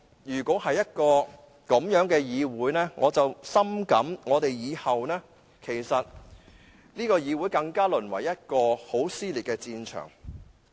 如果是這樣的話，我深感以後這個議會會淪為更撕裂的戰場。